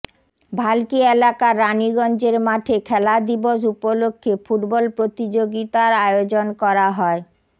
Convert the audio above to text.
ভাল্কি এলাকার রানিগঞ্জের মাঠে খেলা দিবস উপলক্ষে ফুটবল প্রতিযোগিতার আয়োজন করা হয়